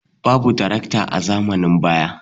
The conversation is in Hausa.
Babu tarakta a zamanin baya.